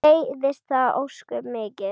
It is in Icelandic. Mér leiðist það ósköp mikið.